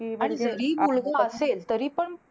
आणि जरी मुलगा असेल तरीपण